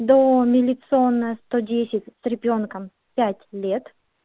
до милиционная сто десять с ребёнком пять лет